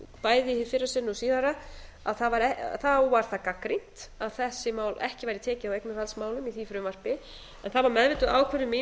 bæði hið fyrra sinn og síðara að þá var það gagnrýnt að ekki væri tekið á eignarhaldsmálum í því frumvarpi en það var meðvituð ákvörðun mín að